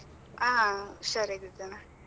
ಹಾ ಹುಷಾರಾಗಿ ಇದ್ದೇನೆ.